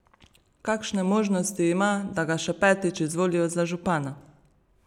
Kakšne možnosti ima, da ga še petič izvolijo za župana?